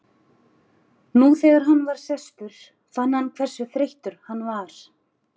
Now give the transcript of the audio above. Nú þegar hann var sestur fann hann hversu þreyttur hann var.